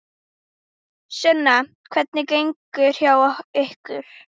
Sunna: Hvernig gengur hjá ykkur?